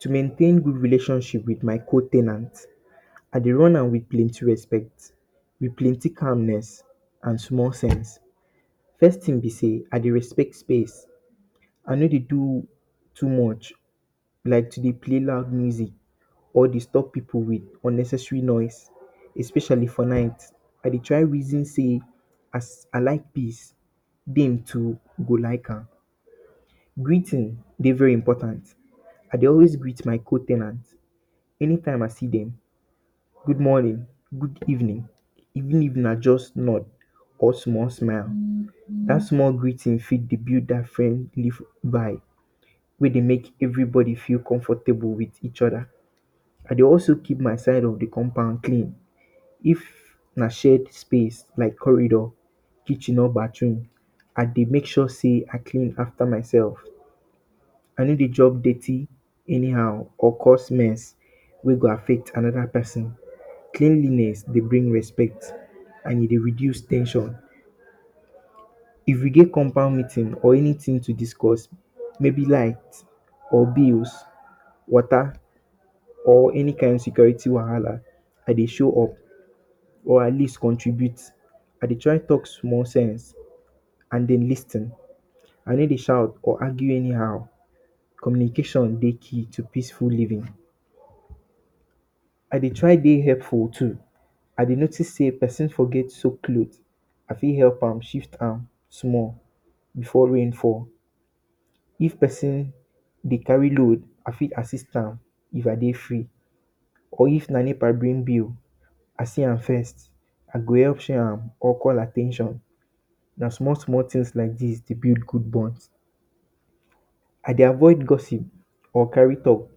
To maintain good relation with my co ten ant, I de run am with plenty respect, with plenty calmness and small sense. First thing be sey I de respect space, I no de do too much, like to de play loud music or disturb pipu with unnecessary noise especially for night I de try reason sey as I like peace, dem too go like am. greeting dey very important I dey always greet my co ten ant every time I see dem, good morning, good evening even if na just nod or small smile even that small greeting fit be build dat friendly vibe wey de make every body feel comfortable with each other I dey also keep my side of de compound clean if na shared space like corridor, kitchen or bathroom I de make sure sey I clean after myself. I no de jump dirty anyhow or cause mess wey go affect another person cleanliness dey bring respect and e de reduce ten sion. If we get compound meeting or anything to discuss maybe be like nepa bills or water or any kind security wahala. I de show up or at least contribute I dey try talk small sense and dem lis ten I no dey shout or argue anyhow communication dey key to any thing in full living I de try de helpful too if I noticed sey person forget soaked cloth I fit help am shift am small before rain fall if person de carry load I fit assist am if I dey free or if na nepa bring bill I see am first I go help share am or call at ten tion na small small thing s like dis de build good bonds. I de avoid gossip or carry talk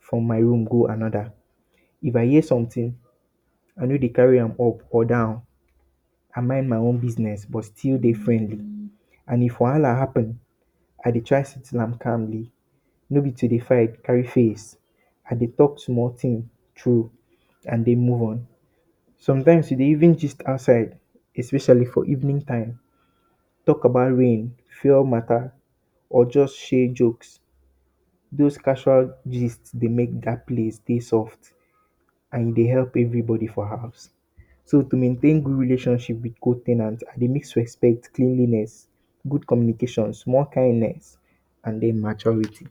from my room go another if I hear something I no de carry am go up or down I mind my own business and if wahala happen I de try settle am calmly no be to de fight carry face I de talk small thing through and then move on sometimes e de even gist outside especially for evening time talk about rain, fuel matter or just share jokes does casual gist dey make that place dey stuff and de help every body for house so to maintain good relation with co ten ant I de maintain respect, cleanliness good communication small kindness and then maturity